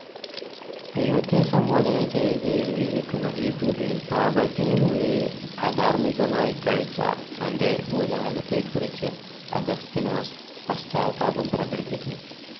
ദൈവത്തെ സംബോധന ചെയ്ത് എഴുതിയിരിക്കുന്ന ഈ കൃതിയിൽ, പാപത്തിൽ മുഴുകി അധാർമ്മികമായി കഴിച്ച തന്റെ ഭൂതകാലത്തെക്കുറിച്ച് അഗസ്തീനോസ് പശ്ചാത്താപം പ്രകടിപ്പിക്കുന്നു.